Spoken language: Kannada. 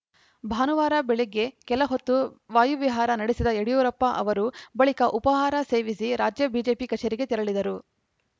ಭಾನುವಾರ ಬೆಳಗ್ಗೆ ಕೆಲ ಹೊತ್ತು ವಾಯುವಿಹಾರ ನಡೆಸಿದ ಯಡಿಯೂರಪ್ಪ ಅವರು ಬಳಿಕ ಉಪಾಹಾರ ಸೇವಿಸಿ ರಾಜ್ಯ ಬಿಜೆಪಿ ಕಚೇರಿಗೆ ತೆರಳಿದರು